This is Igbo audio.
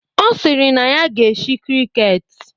Ọ sịrị na ya ga-eshi krịket